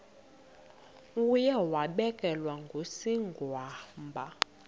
uye wabelekwa ngusigwamba